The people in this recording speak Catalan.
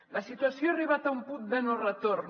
la situació ha arribat a un punt de no retorn